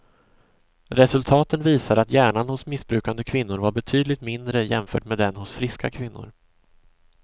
Resultaten visar att hjärnan hos missbrukande kvinnor var betydligt mindre jämfört med den hos friska kvinnor.